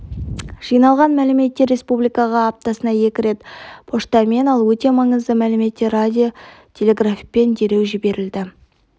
жиналған мәліметтер республикаға аптасына екі рет поштамен ал өте маңызды мәліметтер радио-телеграфпен дереу жіберілді